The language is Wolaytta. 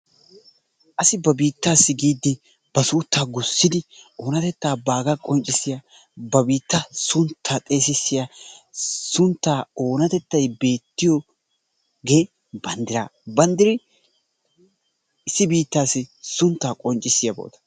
Asi ba biittas giidi ba suutta gussidi oonattetta baaga qoncissiyaa ba biittaa sunttaa xeesisyaa suntta oonattetay beettiyoge banddira, bandiri issi biittas sunttaa qoncissiyaba..